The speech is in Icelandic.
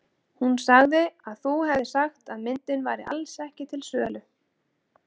Hún sagði að þú hefðir sagt að myndin væri alls ekki til sölu.